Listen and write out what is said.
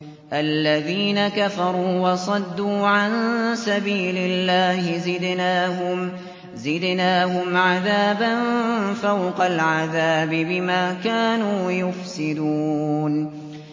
الَّذِينَ كَفَرُوا وَصَدُّوا عَن سَبِيلِ اللَّهِ زِدْنَاهُمْ عَذَابًا فَوْقَ الْعَذَابِ بِمَا كَانُوا يُفْسِدُونَ